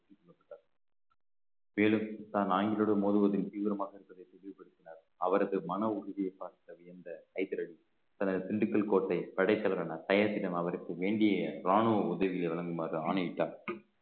மேலும் தான் நாயன்களுடன் மோதுவதில் தீவிரமாக அவரது மன உறுதியை பார்த்து வியந்த ஹைதர் அலி தனது திண்டுக்கல் கோட்டை படைத்தவரான அவருக்கு வேண்டிய இராணுவ உதவிகளை வழங்குமாறு ஆணையிட்டார்